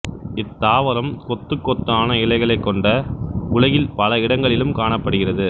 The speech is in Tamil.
இத்தாவரம் கொத்துக்கொத்தான இலைகளைக் கொண்ட உலகில் பல இடங்களிலும் காணப்படுகிறது